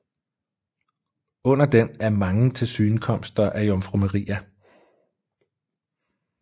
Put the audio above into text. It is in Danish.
Under den er mange tilsynekomster af Jomfru Maria